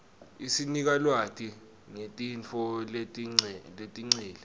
isinika lwati ngetintfo letengcile